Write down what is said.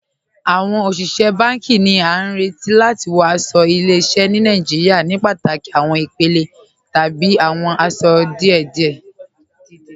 Awọn oṣiṣẹ̀ bánkì ni à ní rètì láti wọ̀ aṣọ̀ ìlẹ̀-ìṣẹ̀ ni Nàìjíríà ní pátákì awọn ìpèlè tàbí awọn aṣọ̀ dídẹ̀.